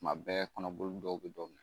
Kuma bɛɛ kɔnɔbolini dɔw bɛ dɔ minɛ